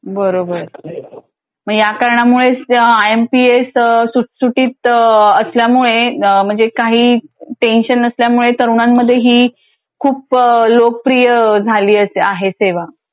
बरोबर मग या कारणामुळेच आय एम पी एस सुटसुटीत असल्यामुळे म्हणजे काही टेन्शन नसल्यामुळे तरुणांमध्ये ही खूप लोकप्रिय झालीआहे सेवा.